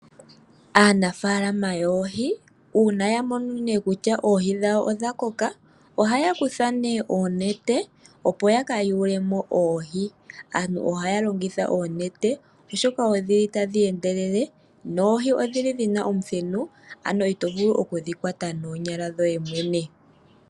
Aanafaalama yoohi uuna ya mono nee kutya oohi dhawo odha koka, ohaya kutha nee oonete, opo ya ka yule mo oohi. Aantu ohaya longitha oonete, oshoka odhi li tadhi endelele noohi odhi li dhi na omuthenu, ano ito vulu oku dhi kwata noonyala dhoye mwene.